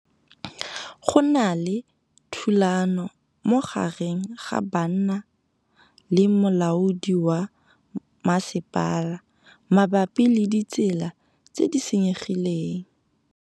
Go na le thulanô magareng ga banna le molaodi wa masepala mabapi le ditsela tse di senyegileng.